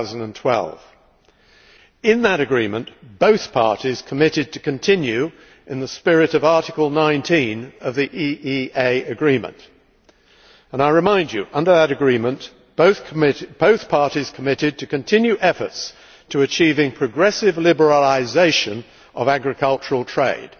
2012. In that agreement, both parties committed to continue in the spirit of Article 19 of the EEA agreement. I remind you that under that agreement both parties committed to continue efforts to achieving progressive liberalisation of agricultural trade.